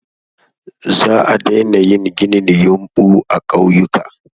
Za a daina yin ginin yumɓu a ƙauyuka.